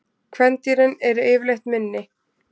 Kvendýrin eru yfirleitt minni.